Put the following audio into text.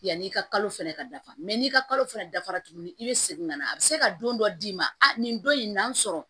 Yanni i ka kalo fɛnɛ ka dafa n'i ka kalo fana dafara tuguni i bɛ segin ka na a bɛ se ka don dɔ d'i ma nin don in n'an sɔrɔ